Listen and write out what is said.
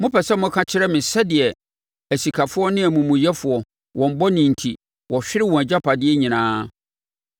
Mopɛ sɛ moka kyerɛ me sɛdeɛ asikafoɔ ne amumuyɛfoɔ, wɔn bɔne enti, wɔhwere wɔn agyapadeɛ nyinaa.